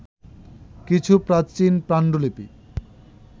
কিছু প্রাচীন পাণ্ডুলিপি